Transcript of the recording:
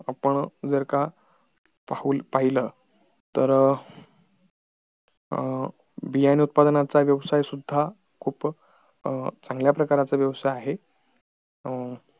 आपण जर का पाहिलं तर बियानी उत्पादनाचा व्यवसाय सुद्धा खूप चांगल्या प्रकारचा व्यवसाय आहे अं